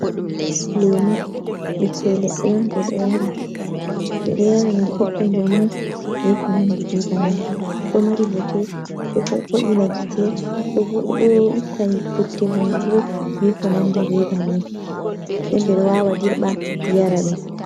Lemu ɓikkoi leɗɗe on ɓe ɗo yara ngam ɓeɗɗa njamu, beko nandi be bannin, ɗo mari bote, ɗo vo’ina gitte, ɗo itta futte hunduko, be ko nandi be bannin. Den ɓeɗo wawa dirɓa yara ɗum.